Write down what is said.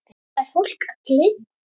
Hvað er fólk að geyma?